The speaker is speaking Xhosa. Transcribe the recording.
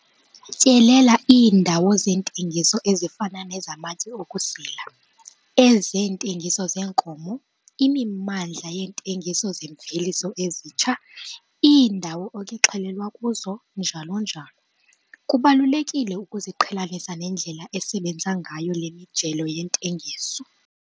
Tyelela iindawo zentengiso ezifana nezamatye okusila, ezeentengiso zeenkomo, imimandla yeentengiso zeemveliso ezitsha, iindawo ekuxhelwa kuzo, njalo njalo. Kubalulekile ukuziqhelanisa nendlela esebenza ngayo le mijelo yentengiso.